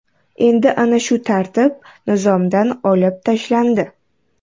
Endi ana shu tartib Nizomdan olib tashlandi.